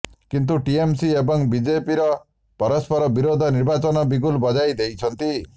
କିନ୍ତୁ ଟିଏମସି ଏବଂ ବିଜେପି ପରସ୍ପର ବିରୋଧରେ ନିର୍ବାଚନ ବିଗୁଲ ବଜାଇ ଦେଇଛନ୍ତି